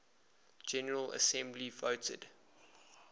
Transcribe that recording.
general assembly voted